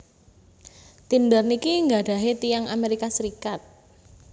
Tinder niki nggadhahe tiyang Amerika Serikat